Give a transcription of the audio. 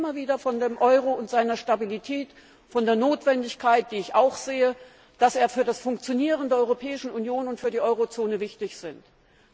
Wir reden immer wieder vom Euro und seiner Stabilität, von der Notwendigkeit, die ich auch sehe, dass er für das Funktionieren der Europäischen Union und für die Eurozone wichtig ist.